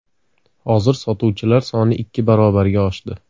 Hozir sotuvchilar soni ikki barobarga oshdi.